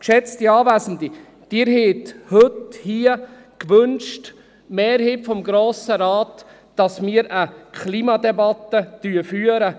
Geschätzte Anwesende, Sie, die Mehrheit des Grossen Rates, haben gewünscht, dass wir hier und heute eine Klimadebatte führen.